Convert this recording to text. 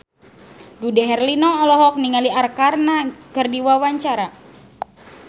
Dude Herlino olohok ningali Arkarna keur diwawancara